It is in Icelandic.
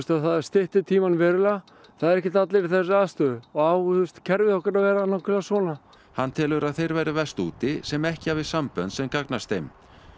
það stytti tímann verulega það eru ekki allir í þessari aðstöðu á kerfið okkar að vera nákvæmlega svona hann telur að þeir verði verst úti sem ekki hafi sambönd sem gagnast þeim